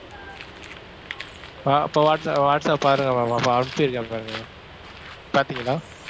அஹ் இப்ப வாட்ச~ வாட்சப் பாருங்க ma'am இப்ப அனுப்பிச்சிருக்கேன் பாருங்க ma'am பார்த்தீங்களா?